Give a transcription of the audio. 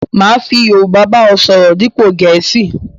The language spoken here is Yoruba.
Máa fi Yorúbá ba ọ sọ̀rọ̀ dípo Gẹ̀ẹ̀síì